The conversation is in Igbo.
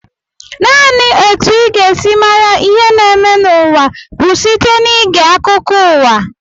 Naanị etu ị ga-esi mara ihe na-eme n'ụwa bụ site n'ige akụkọ uwa